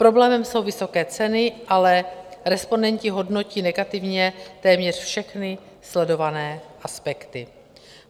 Problémem jsou vysoké ceny, ale respondenti hodnotí negativně téměř všechny sledované aspekty.